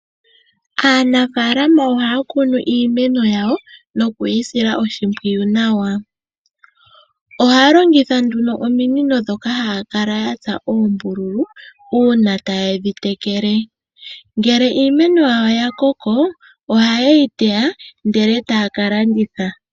Aanafalama ohaakunu iimeno yawo, nokwiisila oshimpwiyu nawa, ohaalongitha ominino ndhoka haakala yatsa oombululu uuna tayedhi tekele. Ngele iimeno yawo yakoko oha yeyi teya ndele etaa kalanditha.